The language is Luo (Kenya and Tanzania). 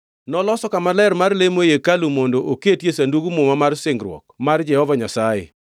Noloso kama ler mar lemo ei hekalu mondo oketie Sandug Muma mar singruok mar Jehova Nyasaye.